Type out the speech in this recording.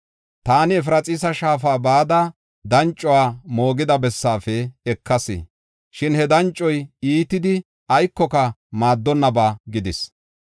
Taani Efraxiisa shaafa bada, dancuwa moogida bessaafe ekas. Shin he dancoy iitidi aykoka maaddonnaba gidis.